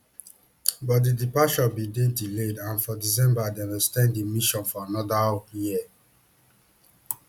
but di departure bin dey delayed and for december dem ex ten d di mission for anoda year